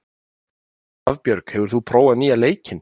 Hafbjörg, hefur þú prófað nýja leikinn?